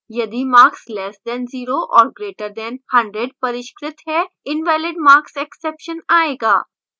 यदिmarks less than 0 or greater than 100 परिष्कृत है invalidmarkexception आयेगा